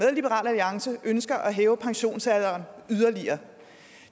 alliance ønsker at hæve pensionsalderen yderligere